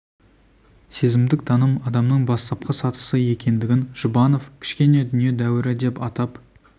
сезімдік таным адамның бастапқы сатысы екендігін жұбанов кішкене дүние дәуірі деп атап